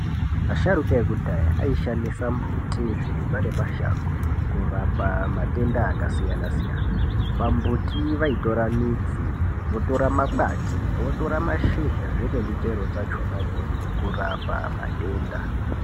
Vasharukwa vedu vanoshandisa mbuti zvirimwa ngemashango kurapa matenda akasiyana siyana pambuti vaitora midzi votora ne makwati votora mashizha vene muchero dzacho na idzodzo kurapa matenda.